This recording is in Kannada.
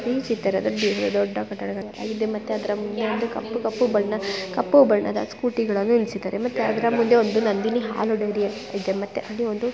ಈ ಚಿತ್ರದಲ್ಲಿ ಒಂದು ದೊಡ್ಡ ಕಟ್ಟಡ ಇದೆ ಅದಕ್ಕೆ ಕೇಸರಿ ಮತ್ತು ಅರಶಿನ ಬಣ್ಣದಲ್ಲಿ ಇದೆ ಮತ್ತೆ ಕಪ್ಪು ಬಣ್ಣದ ಸ್ಕೂಟಿ ನಿಲ್ಲಿಸಿದ್ದಾರೆ ಮತ್ತೆ ಅದರಲ್ಲಿ ದೊಡ್ಡ ನಂದಿನಿ ಹಾಲು ಡೈರಿ ಇದೆ ಮತ್ತೆ ಅಲ್ಲಿ ಒಂದು